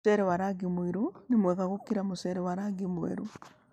Mũcere wa rangi mũirũ nĩ mwega gũkĩra wa rangi mwerũ.